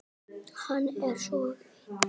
Hann er svo ein